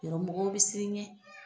Yarɔ mɔgɔ bɛ sir'i ɲɛ